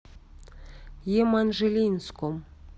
еманжелинском